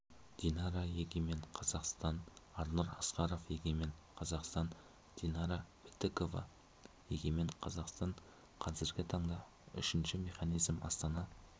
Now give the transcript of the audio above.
динара егемен қазақстан арнұр асқаров егемен қазақстан динара бітікова егемен қазақстан қазіргі таңда үшінші механизм астана